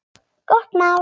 Gott mál.